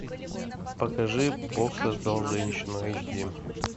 покажи бог создал женщину эйч ди